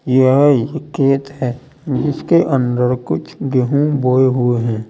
यह एक खेत है जिसके अंदर कुछ गेहूं बोए हुए हैं।